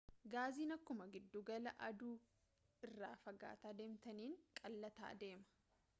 gaaziin akkuma giddugala aduu irraa fagaataa deemtaniin qal'ataa deema